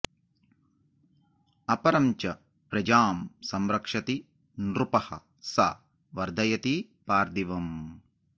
अपरं च प्रजां संरक्षति नृपः सा वर्धयति पार्थिवम्